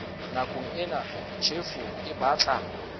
nakong ena tjhefo e batla